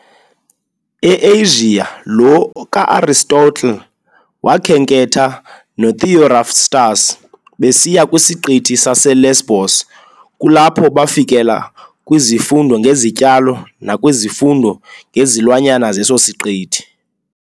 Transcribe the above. E-Asia, lo kaAristotle wakhenketha no Theophrastus besiya kwisiqithi saseLesbos, kulapho bafikela kwizifundo ngezityalo nakwizifundo ngezilwanyana zeso siqithi.